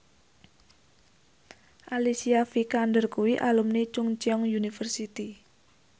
Alicia Vikander kuwi alumni Chungceong University